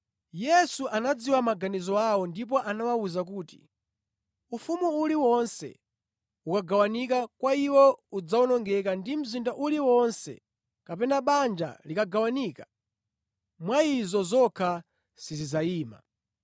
Yesu anadziwa maganizo awo ndipo anawawuza kuti, “Ufumu uliwonse ukagawanika mwa iwo udzawonongeka ndi mzinda uliwonse kapena banja likagawanika, mwa izo zokha sizidzayima.